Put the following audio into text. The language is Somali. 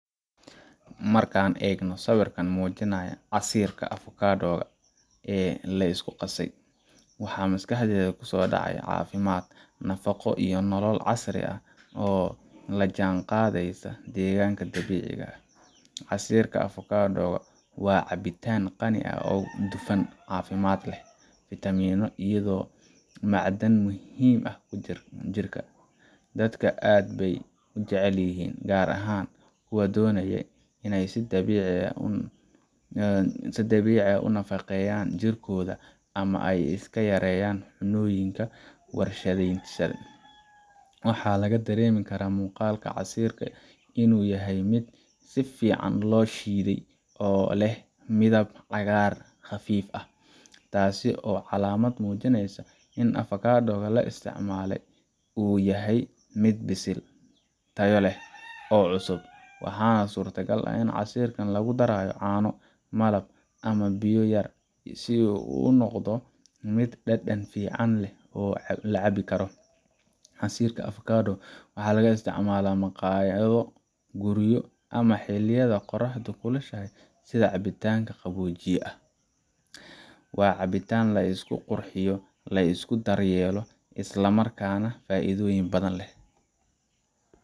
Marka aan eegayo sawirkan muujinaya casiirka avocado ga ee la isku qasay, waxa maskaxdayda ku soo dhacaya caafimaad, nafaqo, iyo nolol casri ah oo la jaanqaadaysa deegaanka dabiiciga ah. Casiirka avocado ga waa cabitaan qani ku ah dufan caafimaad leh, fiitamiinno, iyo macdan muhiim u ah jirka. Dadka aad bay u jecel yihiin, gaar ahaan kuwa doonaya in ay si dabiici ah u nafaqeeyaan jirkooda ama ay iska yareeyaan cunnooyinka warshadaysan. Waxaa laga dareemi karaa muuqaalka casiirka in uu yahay mid si fiican loo shiiday oo leh midab cagaar khafiif ah, taasoo ah calaamad muujinaysa in avocado ga la isticmaalay uu yahay mid bisil, tayo leh, oo cusub. Waxaa suuragal ah in casiirkaan lagu daray caano, malab, ama biyo yar si uu u noqdo mid dhadhan fiican leh oo la cabbi karo. Casiirka avocado ga waxaa laga isticmaalaa maqaayado, guryo, ama xilliyada qorraxdu kulushahay sida cabitaanka qaboojiye ah. Waa cabitaan la isku qurxiyo, la isku daryeelo, isla markaana leh faa’iidooyin badan